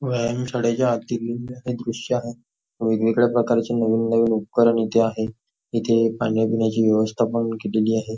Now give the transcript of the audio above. व्यायाम शाळेच्या आतील दृश्य आहे वेगवेगळ्या प्रकारच्ये उपकरण इथे आहेत इथे खाण्यापिण्याची पण व्यवस्था केलेली आहे.